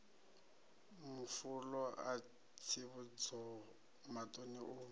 mafulo a tsivhudzo maṱano u